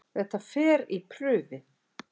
Þetta fer í prufi.